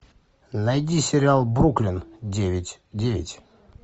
найди сериал бруклин девять девять